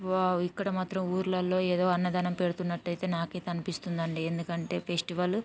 Wow ఇక్కడ మాత్రం ఊర్లలో ఏదో అన్నదానం పెడుతున్నట్టయితే నాకైతే అనిపిస్తుందండి. ఎందుకంటే ఫెస్టివల్ --